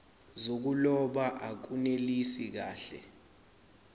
zokuloba akunelisi kahle